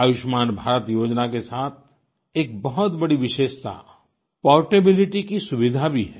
आयुष्मान भारत योजना के साथ एक बहुत बड़ी विशेषता पोर्टेबिलिटी की सुविधा भी है